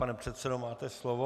Pane předsedo, máte slovo.